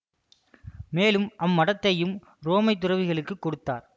மேலும் அம்மடத்தையும் உரோமை துறவிகளுக்கு கொடுத்தார்